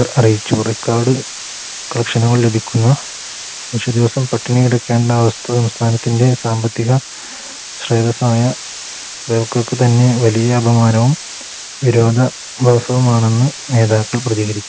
അറിയിച്ചു Record collection നുകൾ ലഭിക്കുകയും വിഷു ദിവസം പട്ടിണി കിടക്കേണ്ട അവസ്ഥ സംസ്ഥാനത്തിൻറെ സാമ്പത്തിക സ്രോതസ്സായ Bevco ക്ക് തന്നെ വലിയ അപമാനവും വിരോധാഭാസമാണെന്ന് നേതാക്കൾ പ്രതികരിച്ചു